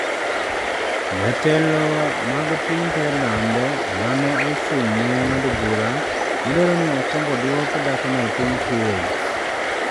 Jotelo mag piny Thailand ma ne ochung’ ne ng’ado bura ne dwaro ni okwongo odwoko dhakono e piny Kuwait.